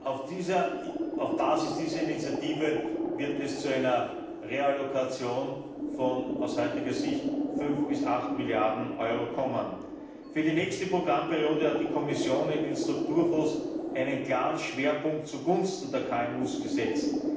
Auf Basis dieser Initiative wird es zu einer Reallokation von, aus heutiger Sicht, fünf bis acht Milliarden Euro kommen. Für die nächste Programmperiode hat die Kommission in den Strukturfonds einen klaren Schwerpunkt zugunsten der KMU gesetzt.